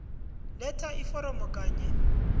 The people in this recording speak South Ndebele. letha iforomo kanye